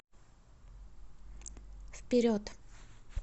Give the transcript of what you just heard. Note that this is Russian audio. вперед